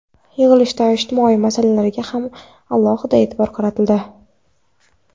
Yig‘ilishda ijtimoiy masalalarga ham alohida e’tibor qaratildi.